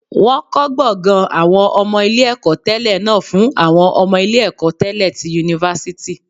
Wọ́n kọ́ gbọ̀ngàn àwọn ọmọ ilé ẹ̀kọ́ tẹlẹ náà fún àwọn ọmọ ilé ẹ̀kọ́ tẹlẹ ti yunifásítì